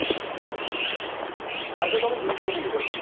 ଆଚ୍ଛା ତମେ ଦିଜଣ ଖାଲି କରିଥିଲ